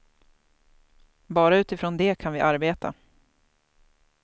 Bara utifrån det kan vi arbeta.